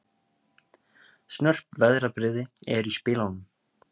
Snörp veðrabrigði eru í spilunum